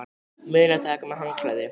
Munið að taka með handklæði!